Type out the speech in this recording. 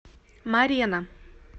морена